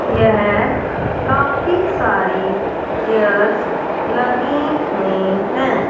यहं काफी सारे चेयर्स लगे हुएं हैं।